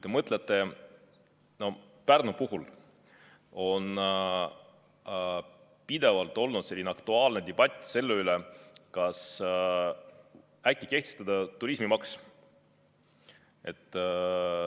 Näiteks Pärnu puhul on pidevalt olnud aktuaalne debatt selle üle, kas kehtestada turismimaks.